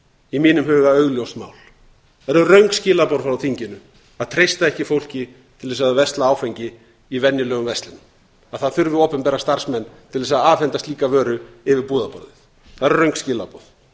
í mínum huga augljóst mál það eru röng skilaboð frá þinginu að treysta ekki fólki til þess að versla áfengi í venjulegum verslunum að það þurfi opinbera starfsmenn til þess að afhenda slíka vöru yfir búðarborðið það eru röng skilaboð